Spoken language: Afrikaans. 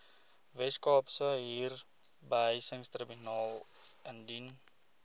weskaapse huurbehuisingstribunaal indien